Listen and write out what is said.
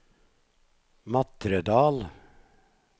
Matredal